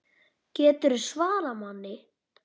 GETURÐU SVARAÐ MANNI!